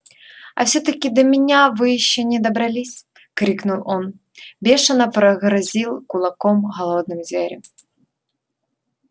а все таки до меня вы ещё не добрались крикнул он бешено прогрозил кулаком голодным зверям